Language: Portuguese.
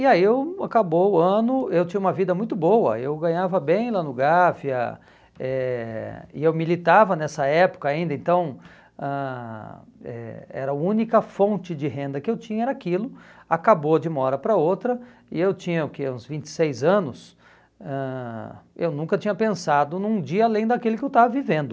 E aí eu acabou o ano, eu tinha uma vida muito boa, eu ganhava bem lá no Gávea, eh e eu militava nessa época ainda, então ãh eh era a única fonte de renda que eu tinha era aquilo, acabou de uma hora para outra, e eu tinha o que, uns vinte e seis anos, ãh eu nunca tinha pensado num dia além daquele que eu estava vivendo.